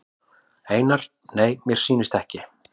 Einar: Nei mér sýnist ekki.